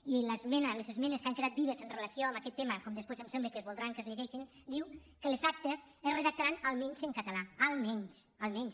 i les esmenes que han quedat vives en relació amb aquest tema com després em sembla que es voldrà que es llegeixin diuen que les actes es redactaran almenys en català almenys almenys